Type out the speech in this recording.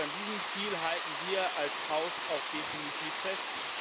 An diesem Ziel halten wir als Haus auch definitiv fest.